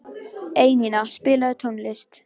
Einína, spilaðu tónlist.